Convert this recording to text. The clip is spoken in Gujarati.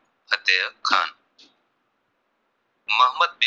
મોહમ્મદ બે